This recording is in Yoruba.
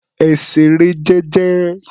Ẹ ṣeré jẹ́jẹ́.